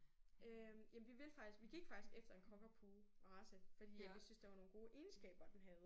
Øh jamen vi ville faktisk vi gik faktisk efter en cockapoo race fordi at vi syntes der var nogle gode egenskaber den havde